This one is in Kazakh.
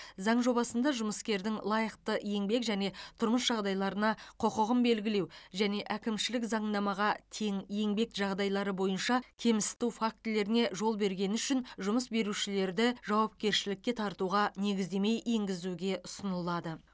заң жобасында жұмыскердің лайықты еңбек және тұрмыс жағдайларына құқығын белгілеу және әкімшілік заңнамаға тең еңбек жағдайлары бойынша кемсіту фактілеріне жол бергені үшін жұмыс берушілерді жауапкершілікке тартуға негіздеме енгізуге ұсынылады